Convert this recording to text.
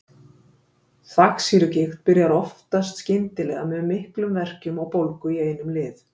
Þvagsýrugigt byrjar oftast skyndilega með miklum verkjum og bólgu í einum lið.